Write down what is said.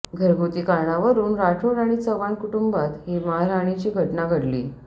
घरगुती कारणावरून राठोड आणि चव्हाण कुटुंबात ही मारहाणाची घटना घडली